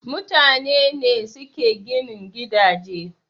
Mutane ne suke ginin gidaje